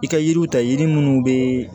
I ka yiriw ta yiri minnu bɛ